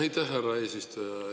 Aitäh, härra eesistuja!